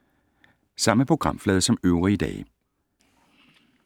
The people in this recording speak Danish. Samme programflade som øvrige dage